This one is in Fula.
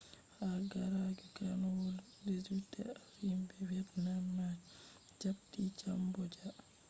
haa ragare karnuwol 18th himbe vietnamese ma japti cambodia